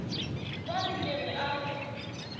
be ke re a re